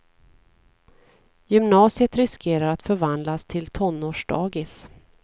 Gymnasiet riskerar att förvandlas till tonårsdagis.